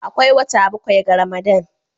Akwai wata bakwai ga Ramadan